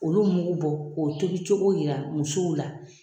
Olu mugu bɔ k'o tobicogo yira musow la.